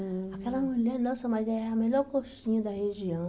Aquela mulher, nossa, mas é a melhor coxinha da região.